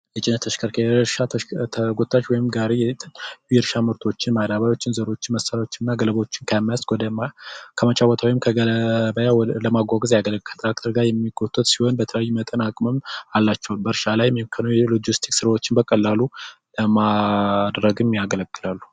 የጭነት ተሽከርካሪ ወይም ጋሪ የእርሻ ምርቶችን ዘሮችን እንዲሁም ገለባዎችን ከመስክ ወደ ቦታ ለማጓጓዝ ያገለግላሉ ከትራክተር ጋር የሚቆጠር ሲሆን የተለያዩ አቅም አላቸው በእርሻ ላይ የሎጂስቲክ ስራዎችን በቀላሉ ለማድረግም ያገለግላሉ።